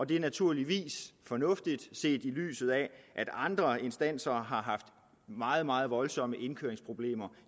det er naturligvis fornuftigt set i lyset af at andre instanser har haft meget meget voldsomme indkøringsproblemer